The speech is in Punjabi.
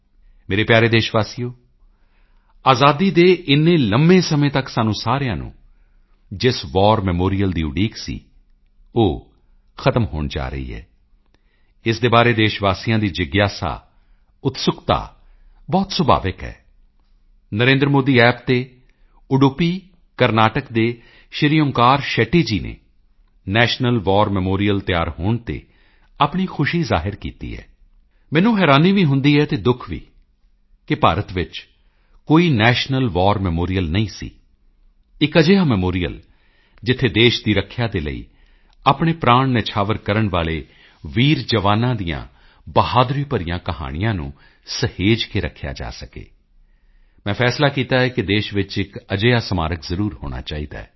ਮੇਰੇ ਪਿਆਰੇ ਦੇਸ਼ ਵਾਸੀਓ ਅਜ਼ਾਦੀ ਦੇ ਇੰਨੇ ਲੰਮੇ ਸਮੇਂ ਤੱਕ ਸਾਨੂੰ ਸਾਰਿਆਂ ਨੂੰ ਜਿਸ ਵਾਰ ਮੈਮੋਰੀਅਲ ਦੀ ਉਡੀਕ ਸੀ ਉਹ ਹੁਣ ਖ਼ਤਮ ਹੋਣ ਜਾ ਰਹੀ ਹੈ ਇਸ ਦੇ ਬਾਰੇ ਦੇਸ਼ ਵਾਸੀਆਂ ਦੀ ਜਿਗਿਆਸਾ ਉਤਸੁਕਤਾ ਬਹੁਤ ਸੁਭਾਵਿਕ ਹੈ NarendraModiApp ਤੇ ਉਡੁੱਪੀ ਕਰਨਾਟਕ ਦੇ ਸ਼੍ਰੀ ਓਂਕਾਰ ਸ਼ੈਟੀ ਜੀ ਨੇ ਨੈਸ਼ਨਲ ਵਾਰ ਮੈਮੋਰੀਅਲ ਤਿਆਰ ਹੋਣ ਤੇ ਆਪਣੀ ਖੁਸ਼ੀ ਜ਼ਾਹਿਰ ਕੀਤੀ ਹੈ ਮੈਨੂੰ ਹੈਰਾਨੀ ਵੀ ਹੁੰਦੀ ਹੈ ਅਤੇ ਦੁਖ ਵੀ ਕਿ ਭਾਰਤ ਵਿੱਚ ਕੋਈ ਨੈਸ਼ਨਲ ਵਾਰ ਮੈਮੋਰੀਅਲ ਨਹੀਂ ਸੀ ਇੱਕ ਅਜਿਹਾ ਮੈਮੋਰੀਅਲ ਜਿੱਥੇ ਦੇਸ਼ ਦੀ ਰੱਖਿਆ ਦੇ ਲਈ ਆਪਣੇ ਪ੍ਰਾਣ ਨਿਛਾਵਰ ਕਰਨ ਵਾਲੇ ਵੀਰ ਜਵਾਨਾਂ ਦੀਆਂ ਬਹਾਦਰੀ ਭਰੀਆਂ ਕਹਾਣੀਆਂ ਨੂੰ ਸਹੇਜ ਕੇ ਰੱਖਿਆ ਜਾ ਸਕੇ ਮੈਂ ਫੈਸਲਾ ਕੀਤਾ ਕਿ ਦੇਸ਼ ਵਿੱਚ ਇੱਕ ਅਜਿਹਾ ਸਮਾਰਕ ਜ਼ਰੂਰ ਹੋਣਾ ਚਾਹੀਦਾ ਹੈ